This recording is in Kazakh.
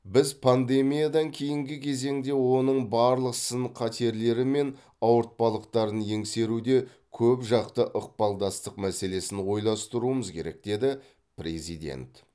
біз пандемиядан кейінгі кезеңде оның барлық сын қатерлері мен ауыртпалықтарын еңсеруде көпжақты ықпалдастық мәселесін ойластыруымыз керек деді президент